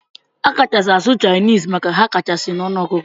Akachasi asụ chinese maka ha kachasi na ọnụ ọgụgụ.